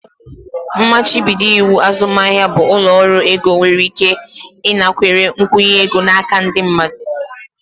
Mmachibido iwu azụmahịa bụ ụlọ ọrụ ego nwere ike ịnakwere nkwụnye ego n'aka ndị mmadụ.